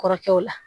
Kɔrɔkɛw la